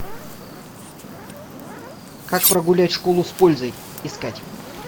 как прогулять школу с пользой искать